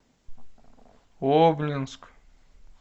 обнинск